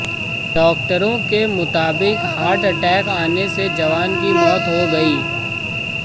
डॉक्टरों के मुताबिक हार्ट अटैक आने से जवान की मौत हो गई